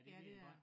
Ja det er jeg